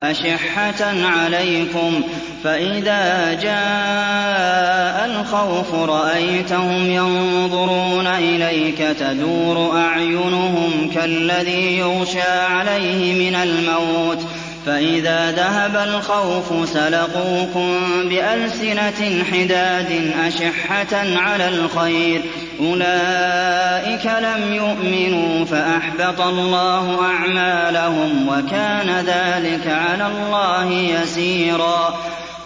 أَشِحَّةً عَلَيْكُمْ ۖ فَإِذَا جَاءَ الْخَوْفُ رَأَيْتَهُمْ يَنظُرُونَ إِلَيْكَ تَدُورُ أَعْيُنُهُمْ كَالَّذِي يُغْشَىٰ عَلَيْهِ مِنَ الْمَوْتِ ۖ فَإِذَا ذَهَبَ الْخَوْفُ سَلَقُوكُم بِأَلْسِنَةٍ حِدَادٍ أَشِحَّةً عَلَى الْخَيْرِ ۚ أُولَٰئِكَ لَمْ يُؤْمِنُوا فَأَحْبَطَ اللَّهُ أَعْمَالَهُمْ ۚ وَكَانَ ذَٰلِكَ عَلَى اللَّهِ يَسِيرًا